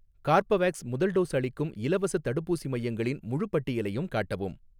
Corbevax முதல் dose அளிக்கும் இலவசத் தடுப்பூசி மையங்களின் முழுப் பட்டியலையும் காட்டவும்.